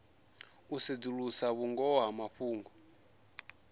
u sedzulusa vhungoho ha mafhungo